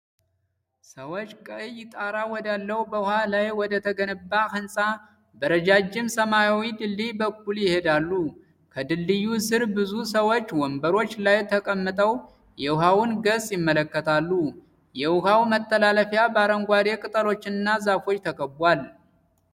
ሰዎች ቀይ ጣራ ወዳለው በውሃ ላይ ወደተገነባ ሕንፃ በረጃጅም ሰማያዊ ድልድይ በኩል ይሄዳሉ። ከድልድዩ ስር ብዙ ሰዎች ወንበሮች ላይ ተቀምጠው የውሃውን ገጽታ ይመለከታሉ። የውሃው መተላለፊያ በአረንጓዴ ቅጠሎችና ዛፎች ተከቧል።